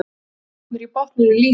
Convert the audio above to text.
Droparnir í botninum lýsa.